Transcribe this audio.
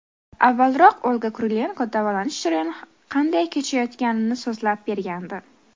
Avvalroq Olga Kurilenko davolanish jarayoni qanday kechayotganini so‘zlab bergandi .